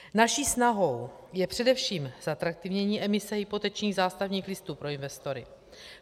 Naší snahou je především zatraktivnění emise hypotečních zástavních listů pro investory.